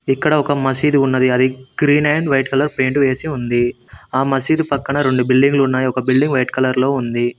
ఇక్కడ ఒక మసీదు ఉన్నది అది green and white colour paint వేసి ఉంది ఆ మసీదు పక్కన రొండు బిల్డింగ్లు ఉన్నాయ్ ఒక బిల్డింగ్ వైట్ కలర్ లో ఉంది.